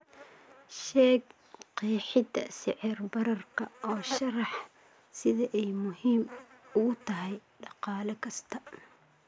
sheeg qeexida sicir bararka oo sharax sida ay muhiim ugu tahay dhaqaale kasta